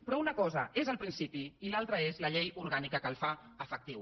però una cosa és el principi i l’altra és la llei orgànica que el fa efectiu